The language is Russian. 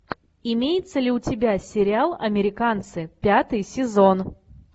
имеется ли у тебя сериал американцы пятый сезон